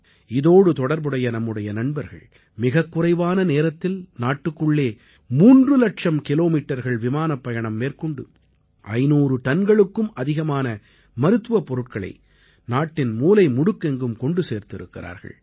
இதோடு தொடர்புடைய நம்முடைய நண்பர்கள் மிகக்குறைவான நேரத்தில் நாட்டுக்குள்ளே 3 இலட்சம் கிலோமீட்டர்கள் விமானப் பயணம் மேற்கொண்டு 500 டன்களுக்கும் அதிகமான மருத்துவப் பொருட்களை நாட்டின் மூலைமுடுக்கெங்கும் கொண்டு சேர்த்திருக்கிறார்கள்